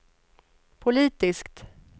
politiskt